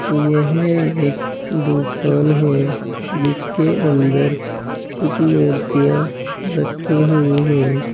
यह एक दुकान है जिसके अंदर कुछ मूर्तियां रखी हुई हैं।